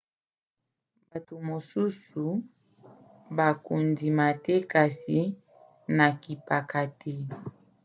bato mosusu bakondima te kasi nakipaka te